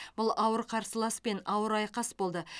бұл ауыр қарсыласпен ауыр айқас болды